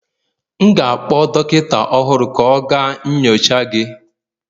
M ga-akpọ dọkịta ọhụrụ ka ọ gaa nyocha gị